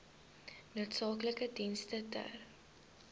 noodsaaklike dienste ter